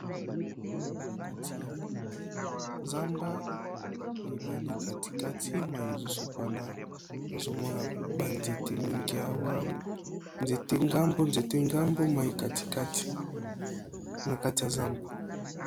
Na kati ya zamba ebale kati kati mayi ezo sopana nazo mona ba nzete mingi awa nzete ngambo nzete ngambo mayi kati kati na kati ya zamba.